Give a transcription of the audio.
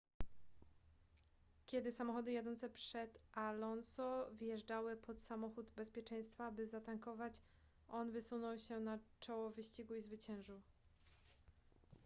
kiedy samochody jadące przed alonso wjeżdżały pod samochód bezpieczeństwa by zatankować on wysunął się na czoło wyścigu i zwyciężył